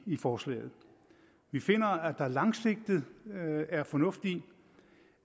i forslaget vi finder at der langsigtet er fornuft i